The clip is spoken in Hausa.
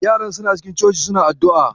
Yaran suna cikin cocin suna addu'a.